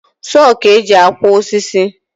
Soo ka eji akwa osisi